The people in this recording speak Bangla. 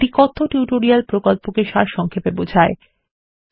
এটি কথ্য টিউটোরিয়াল প্রকল্পকে সারসংক্ষেপে বোঝায়